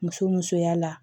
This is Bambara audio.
Muso musoya la